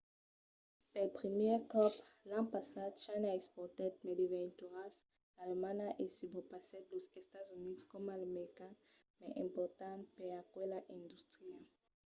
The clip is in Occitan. pel primièr còp l'an passat china exportèt mai de veituras qu’alemanha e subrepassèt los estats units coma lo mercat mai important per aquela industria